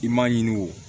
I m'a ɲini o